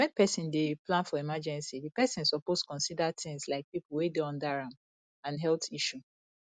when person dey plan for emergecy di person suppose consider things like pipo wey dey under am and health issue